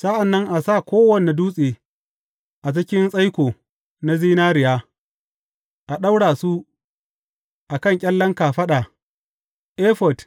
Sa’an nan a sa kowane dutse a cikin tsaiko na zinariya a ɗaura su a kan ƙyallen kafaɗa efod